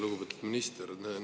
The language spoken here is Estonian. Lugupeetud minister!